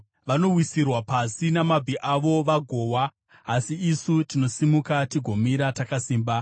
Vanowisirwa pasi namabvi avo vagowa, asi isu tinosimuka tigomira takasimba.